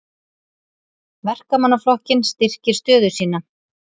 Verkamannaflokkinn styrkir stöðu sína